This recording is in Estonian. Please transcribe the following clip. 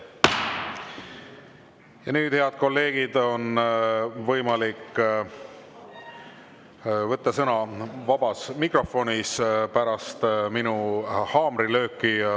Ja nüüd, head kolleegid, on võimalik pärast minu haamrilööki võtta sõna vabas mikrofonis.